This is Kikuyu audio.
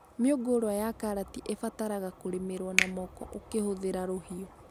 Mĩũngũrwa ya karati ĩbataraga kũrĩmĩrwo na moko ũkĩhũthĩra rũhiũ